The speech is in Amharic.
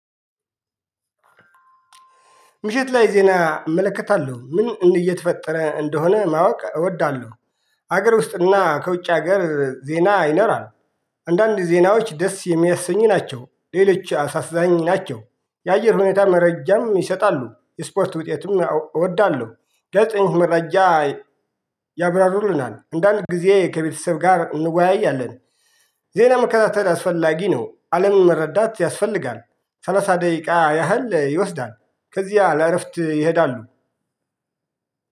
ምሽት ላይ ዜና እመለከታለሁ ምን እንደ የተፈጠረ እንደሆነ ማወቅ እወዳለሁ። ሀገር ውስጥና ከውጭ ሀገር ዜና ይኖራል። አንዳንድ ዜናዎች ደስ የሚያሰኙ ናቸው ሌሎች አሳዛኝ ናቸው። የአየር ሁኔታ መረጃም ይሰጣሉ የስፖርት ውጤትም እወዳለሁ። ጋዜጠኞች መረጃ ያብራሩልናል እንዳልኩህ ጊዜ ከቤተሰብ ጋር እንወያያለን። ዜና መከታተል አስፈላጊ ነው አለምን መረዳት ያስፈልጋል። ሰላሳ ደቂቃ ያህል ይወስዳል። ከዚያ ለእረፍት ይሄዳሉ።